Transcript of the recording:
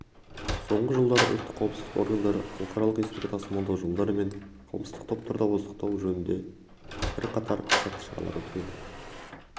соңғы жылдары ұлттық қауіпсіздік органдары халықаралық есірткі тасымалдау жолдары мен қылмыстық топтарды ауыздықтау жөнінде бірқатар сәтті шаралар өткізді